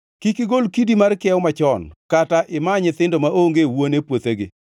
Kik igol kidi mar kiewo machon, kata ima nyithindo maonge wuone puothegi;